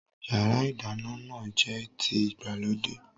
Yàrá-ìdáná náà jẹ́ ti ìgbàlódé